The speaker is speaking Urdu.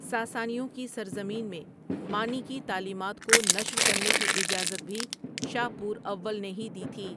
ساسانیوں کی سرزمین میں مانی کی تعلیمات کو نشر کرنے کی اجازت بھی شاپور اول نے ہی دی تھی۔